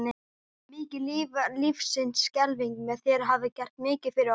Mikið lifandis skelfing sem þér hafið gert mikið fyrir okkur.